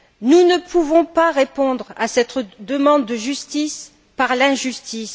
Nous ne pouvons pas répondre à cette demande de justice par l'injustice.